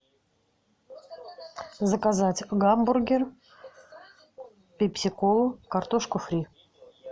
заказать гамбургер пепси колу картошку фри